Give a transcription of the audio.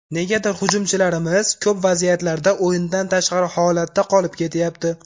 Negadir, hujumchilarimiz ko‘p vaziyatlarda o‘yindan tashqari holatda qolib ketyapti.